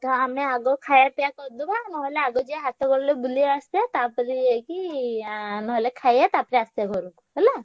ତ ଆମେ ଆଗ ଖାୟା ପିୟା କରିଦବା ନହେଲେ ଆଗ ଯାଇ ହାଟ ଗଳିରେ ବୁଲି ଦେଇ ଆସିଆ। ତାପରେ ଯାଇକି ଆଁ ନହେଲେ ଖାୟା ତାପରେ ଆସିଆ ହେଲା।